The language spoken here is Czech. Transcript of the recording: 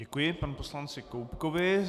Děkuji pan poslanci Koubkovi.